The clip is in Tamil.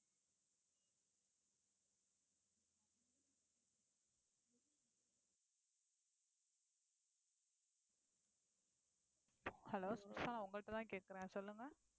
hello கேட்கிறேன் சொல்லுங்க